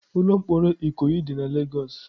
Ụlọ mkpọrọ Ikoyi dị na Lagos.